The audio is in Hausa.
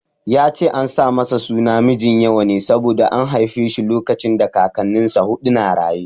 Ya ce an sa masa suna Mijinyawa ne saboda an haife shi lokacin Kakannin sa huɗu na raye.